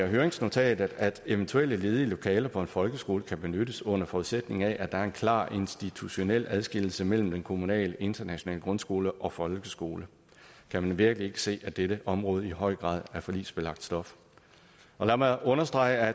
høringsnotat at eventuelle ledige lokaler på en folkeskole kan benyttes under forudsætning af at der er en klar institutionel adskillelse mellem den kommunale internationale grundskole og folkeskole kan man virkelig ikke se at dette område i høj grad er forligsbelagt stof lad mig understrege at